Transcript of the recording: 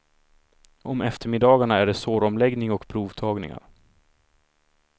Om eftermiddagarna är det såromläggning och provtagningar.